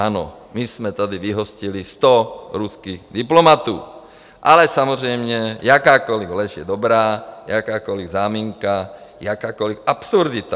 Ano, my jsme tady vyhostili sto ruských diplomatů, ale samozřejmě, jakákoli lež je dobrá, jakákoli záminka, jakákoli absurdita.